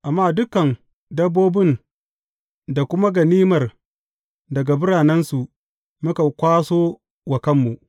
Amma dukan dabbobin da kuma ganimar daga biranensu muka kwaso wa kanmu.